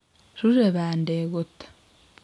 ruure bandek kot: